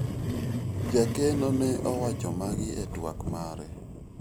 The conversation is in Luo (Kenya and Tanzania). jakeno ne owacho magi e twak mare